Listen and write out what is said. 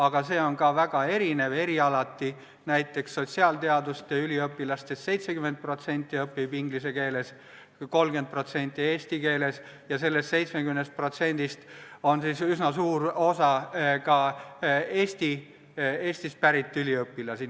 Aga see on erialati väga erinev, näiteks sotsiaalteaduste üliõpilastest 70% õpib inglise keeles ja 30% eesti keeles, kusjuures sellest 70%-st on üsna suur osa Eestist pärit üliõpilased.